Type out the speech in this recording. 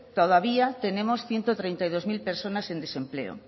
todavía tenemos ciento treinta y dos mil personas en desempleo